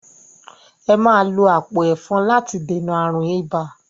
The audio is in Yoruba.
Ẹ máa lo àpò ẹ̀fọn láti dènà ààrùn ibà!